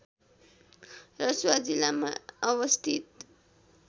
रसुवा जिल्लामा अवस्थित